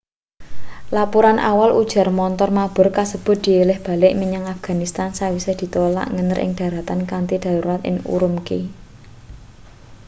lapuran awal ujar montor mabur kasebut dielih balik menyang afghanistan sawise ditolak ngener ing dharatan kanthi darurat ing ürümqi